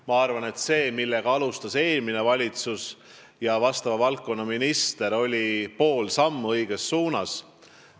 Ma arvan, et see, millega alustasid eelmine valitsus ja vastava valdkonna minister, oli pool sammu õiges suunas.